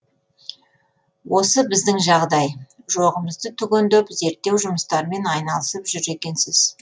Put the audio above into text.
осы біздің жағдай жоғымызды түгендеп зерттеу жұмыстарымен айналысып жүр екенсіз